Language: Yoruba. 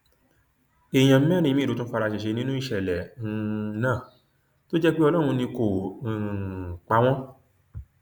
èèyàn mẹrin míín ló tún fara ṣẹṣẹ nínú ìṣẹlẹ um náà tó jẹ pé ọlọrun ni kó um pa wọn